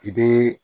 I bɛ